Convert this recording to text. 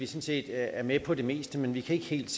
set er med på det meste men ikke helt